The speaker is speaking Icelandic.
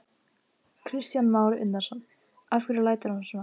Kristján Már Unnarsson: Af hverju lætur hann svona?